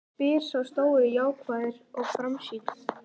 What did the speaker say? spyr sá stóri jákvæður og framsýnn.